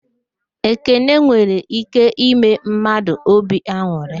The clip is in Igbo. Ekele nwere íké ime mmadụ óbì an̄ụrị.